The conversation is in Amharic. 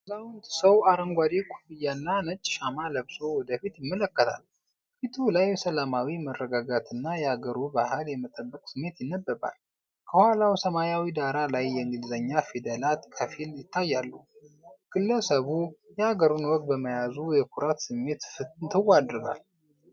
አዛውንት ሰው አረንጓዴ ኮፍያና ነጭ ሻማ ለብሶ ወደፊት ይመለከታል። ፊቱ ላይ ሰላማዊ መረጋጋትና የአገሩ ባህል የመጠበቅ ስሜት ይነበባል። ከኋላው ሰማያዊ ዳራ ላይ የእንግሊዝኛ ፊደላት በከፊል ይታያሉ። ግለሰቡ የአገሩን ወግ በመያዙ የኩራት ስሜት ፍንትው ያደርጋል።